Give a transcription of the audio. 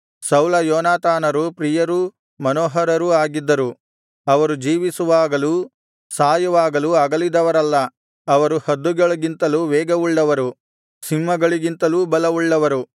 ಸೌಲಯೋನಾತಾನರು ಪ್ರಿಯರೂ ಮನೋಹರರೂ ಆಗಿದ್ದರು ಅವರು ಜೀವಿಸುವಾಗಲೂ ಸಾಯುವಾಗಲೂ ಅಗಲಿದವರಲ್ಲ ಅವರು ಹದ್ದುಗಳಿಗಿಂತಲೂ ವೇಗವುಳ್ಳವರು ಸಿಂಹಗಳಿಗಿಂತಲೂ ಬಲವುಳ್ಳವರು